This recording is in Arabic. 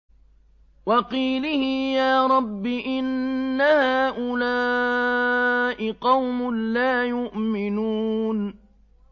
وَقِيلِهِ يَا رَبِّ إِنَّ هَٰؤُلَاءِ قَوْمٌ لَّا يُؤْمِنُونَ